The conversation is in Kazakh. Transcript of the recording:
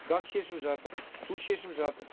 газ шешіліп жатыр су шешіліп жатыр